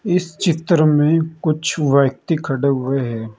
इस चित्र में कुछ व्यक्ति खड़े हुए हैं।